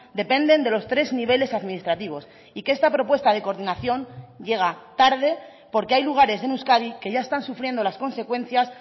dependen de los tres niveles administrativos y que esta propuesta de coordinación llega tarde porque hay lugares en euskadi que ya están sufriendo las consecuencias